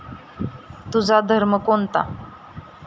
तुझा धर्म कोणता?